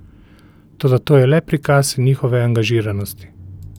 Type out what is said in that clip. Toda to je le prikaz njihove angažiranosti.